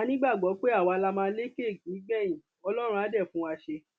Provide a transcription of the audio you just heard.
a nígbàgbọ pé àwa la máa lékè nígbẹyìn ọlọrun á dé fún wa ṣe